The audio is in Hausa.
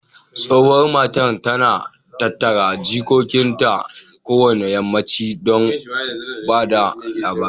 Tsohuwan mata, ta na tattara jikokin ta kowane yammanchi don ba da labarai.